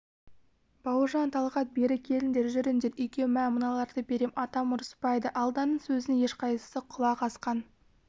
бауыржан талғат бері келіңдер жүріңдер үйге мә мыналарды берем атам ұрыспайды алданның сөзіне ешқайсысы құлақ асқан